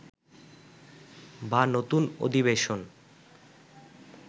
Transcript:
বা নতুন অধিবেশন